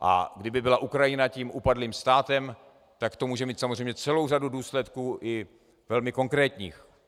A kdyby byla Ukrajina tím upadlým státem, tak to může mít samozřejmě celou řadu důsledků, i velmi konkrétních.